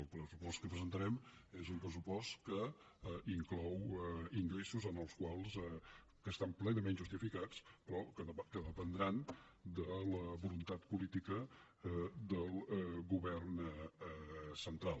el pressupost que presentarem és un pressupost que inclou ingressos que estan plenament justificats però que dependran de la voluntat política del govern central